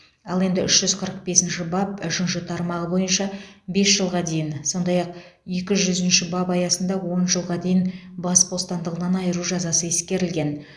ал енді үш жүз қырық бесінші бап үшінші тармағы бойынша бес жылға дейін сондай ақ екі жүзінші бап аясында он жылға дейін бас бостандығынан айыру жазасы ескерілген